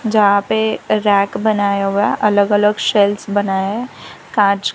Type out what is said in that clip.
जहां पे रैक बनाया हुआ है अलग-अलग सेल्फ्स बना है कांच --